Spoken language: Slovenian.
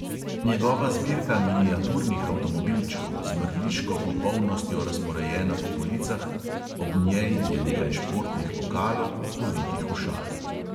Njegova zbirka miniaturnih avtomobilčkov, z mrliško popolnostjo razporejena po policah; ob njej je nekaj športnih pokalov, ovitih v šal.